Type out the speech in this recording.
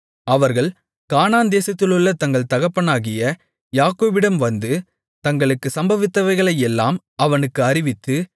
அவர்கள் கானான் தேசத்திலுள்ள தங்கள் தகப்பனாகிய யாக்கோபிடம் வந்து தங்களுக்குச் சம்பவித்தவைகளையெல்லாம் அவனுக்கு அறிவித்து